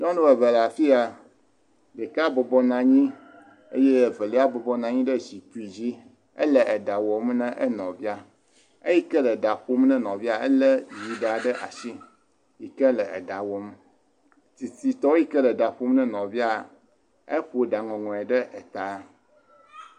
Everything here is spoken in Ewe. Nyɔnu eve le afi ya. Ɖeka bɔbɔ nɔ anyi eye evelia bɔbɔ nɔ anyi ɖe zikpi dzi, ele eɖa wɔm na enɔvia. Eyi ke le ɖa ƒom na enɔviaa, elé yiɖa ɖe ashi yi ke le eɖa wɔm. Tsitsitɔ yi ke le ɖa ƒom na enɔviaa, eƒo ɖaŋɔŋɔe ɖe etaa